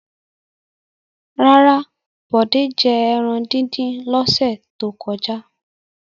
Rárá, Bọ̀dé jẹ ẹran dídín lọ́sẹ̀ tó kọjá.